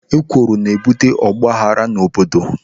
Ekworo na-ebute ọgbaaghara n'obodo.